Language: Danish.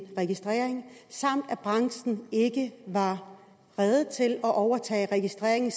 registrering samt at branchen ikke var rede til at overtage registreringen